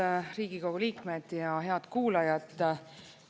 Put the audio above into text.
Head Riigikogu liikmed ja head kuulajad!